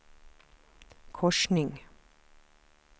korsning